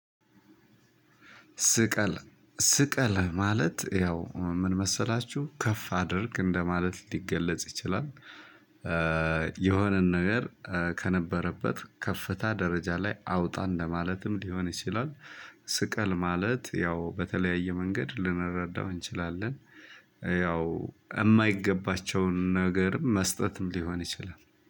ስቀል ስቀል ማለት ያው ምን መሰላችሁ ከፍ አድርግ እንደማለት ሊገለጽ ይችላል። የሆነን ነገር ከነበረበት ከፍታ ደረጃ ላይ አውጣ እንደማለትም ሊሆን ይችላል። ስቀል ማለት ያው በተለያየ መንገድ ልንረዳው እንችላለን። ያው የማይገባቸውን ነገርም መስጠትም ሊሆን ይችላል